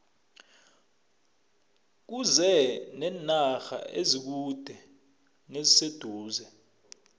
kuze nenarha ezikude neziseduze